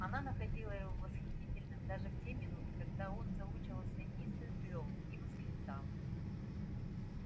она находила его восхитительным даже в те минуты когда он заучивался неистовым рёвом и восклицала